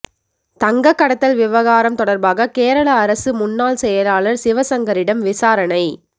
தங்க கடத்தல் விவகாரம் தொடர்பாக கேரள அரசு முன்னாள் செயலாளர் சிவசங்கரிடம் விசாரணை